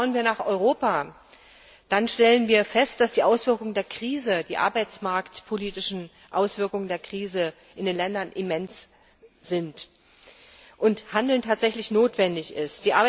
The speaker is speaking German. Schauen wir nach Europa, dann stellen wir fest, dass die arbeitsmarktpolitischen Auswirkungen der Krise in den Ländern immens sind und Handeln tatsächlich notwendig ist.